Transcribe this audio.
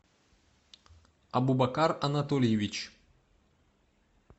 абубакар анатольевич